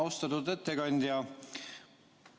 Austatud ettekandja!